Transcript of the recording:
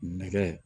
Nɛgɛ